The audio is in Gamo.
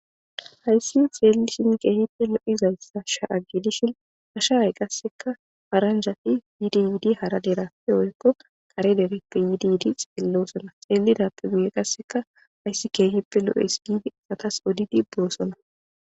hayssi xeelishin keehippe lo7izaysa sha7a gedishin ha sha7ay qasseka paranjati yiidi yidi hara derappe woykko kare dereppe yiidi yiidi xeellosona xeelidappe guye qasseka hayssi keehippe lo7es giidi xatas odidi boosona